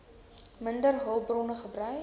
minder hulpbronne gebruik